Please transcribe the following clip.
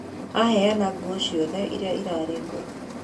Aheana nguo ciothe iria irarĩ ngũrũ